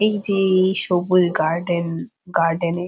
এই যে-এ এই সবুজ গার্ডেন গার্ডেনে --